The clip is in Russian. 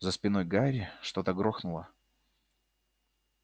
за спиной гарри что-то грохнуло